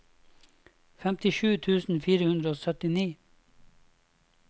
femtisju tusen fire hundre og syttini